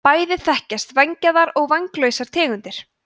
bæði þekkjast vængjaðar og vænglausar tegundir